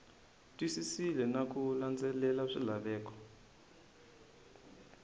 twisisile na ku landzelela swilaveko